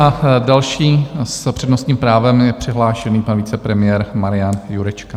A další s přednostním právem je přihlášený pan vicepremiér Marian Jurečka.